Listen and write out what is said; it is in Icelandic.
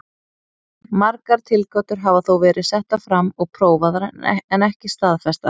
Margar tilgátur hafa þó verið settar fram og prófaðar en ekki staðfestar.